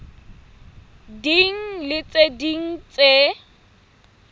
ding le tse ding tse